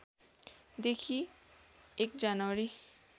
देखि १ जनवरी